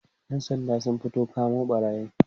ƴan Sandan sun fita kamo ɓarayin